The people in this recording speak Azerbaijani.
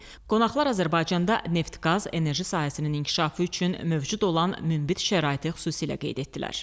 Qonaqlar Azərbaycanda neft-qaz, enerji sahəsinin inkişafı üçün mövcud olan münbit şəraiti xüsusilə qeyd etdilər.